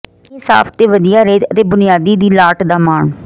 ਇਹ ਸਾਫ਼ ਤੇ ਵਧੀਆ ਰੇਤ ਅਤੇ ਬੁਨਿਆਦੀ ਦੀ ਲਾਟ ਦਾ ਮਾਣ